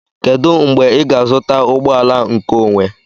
Kedu mgbe ị ga-azụta ụgbọ ala nkeonwe?